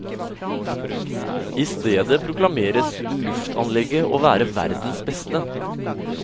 I stedet proklameres luftanlegget å være verdens beste.